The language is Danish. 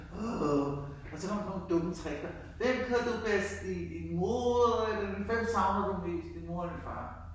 Åh og så kom der sådan nogle dumme trickspørgsmål hvem kan du bedst lide? Din mor eller hvem savner du mest din mor eller din far?